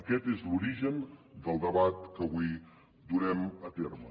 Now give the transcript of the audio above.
aquest és l’origen del debat que avui durem a terme